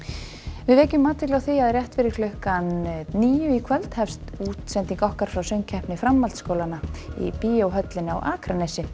við vekjum athygli á því að rétt fyrir klukkan níu í kvöld hefst útsending okkar frá söngkeppni framhaldsskólanna í Bíóhöllinni á Akranesi